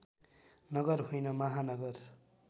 नगर होइन महानगर